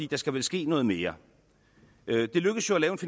der skal vel ske noget mere